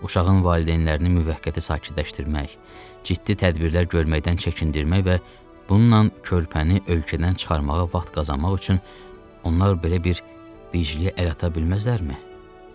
Uşağın valideynlərini müvəqqəti sakitləşdirmək, ciddi tədbirlər görməkdən çəkindirmək və bununla körpəni ölkədən çıxarmağa vaxt qazanmaq üçün onlar belə bir hiyə əl ata bilməzlərmi?